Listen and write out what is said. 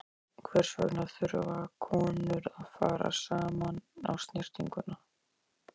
Hvers vegna þurfa konur að fara saman á snyrtinguna?